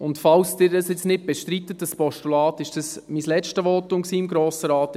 Und falls Sie das jetzt nicht bestreiten, dieses Postulat, war das mein letztes Votum im Grossen Rat.